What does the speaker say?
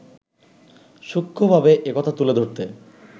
সূক্ষ্ণভাবে একথা তুলে ধরতে